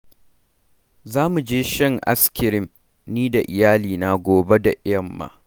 Za mu je shan askirim ni da iyalina gobe da yamma.